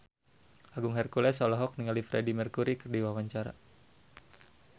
Agung Hercules olohok ningali Freedie Mercury keur diwawancara